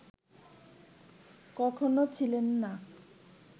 কখনও ছিলেন না